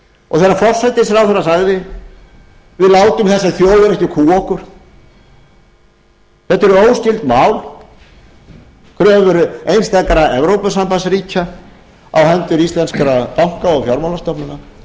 og þegar forsætisráðherra sagði við látum þessa þjóð ekki kúga okkur þetta eru óskyld mál kröfur einstakra evrópusambandsríkja á hendur íslenskra banka og fjármálastofnana og því að